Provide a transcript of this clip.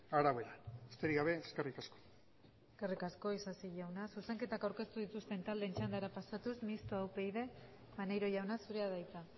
arabera besterik gabe eskerrik asko eskerrik asko isasi jauna zuzenketak aurkeztu dituzten taldeen txandara pasatuz mistoa upyd maneiro jauna zurea da hitza